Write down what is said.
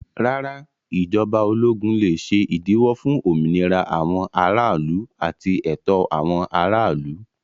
Rárá, ìjọba ológun lè ṣe ìdíwọ́ fún òmìnira àwọn aráàlú àti ẹ̀tọ́ àwọn aráàlú.